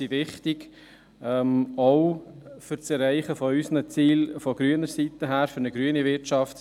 Sie sind wichtig, auch für das Erreichen der Ziele der Grünen, für eine grüne Wirtschaft.